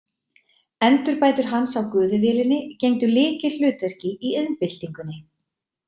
Endurbætur hans á gufuvélinni gegndu lykilhlutverki í iðnbyltingunni.